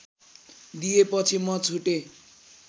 दिएपछि म छुटेँ